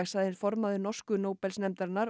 sagði formaður norsku Nóbelsnefndarinnar